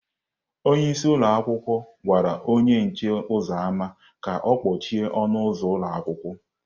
Onye isi ụlọ akwụkwọ gwara onye nche ụzọ ámá ka ọ kpọchie ọnụ ụzọ ụlọ akwụkwọ.